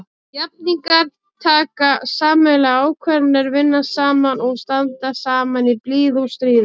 Jafningjar taka sameiginlegar ákvarðanir, vinna saman og standa saman í blíðu og stríðu.